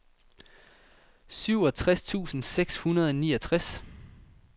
syvogtres tusind seks hundrede og niogtres